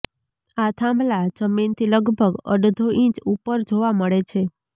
આ થાંભલા જમીનથી લગભગ અડધો ઈંચ ઉપર જોવા મળે છે